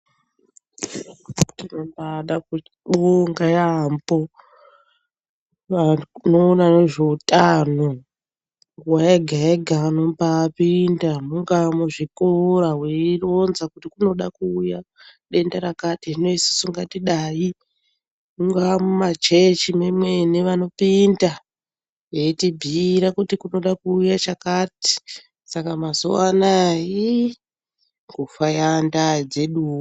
Tinombada kuvonga yaambo vanoona nezveutano. Nguva yega-yega vanombapinda mungaa muzvikora veironza kuti kunoda kuuya denda rakati hino isu ngatidai. Mungaa mumachechi memwene vanopinda veitibhuyira kuti kunoda kuuya chakati saka mazuva anaya iiii kufa yaandaa dzeduwo.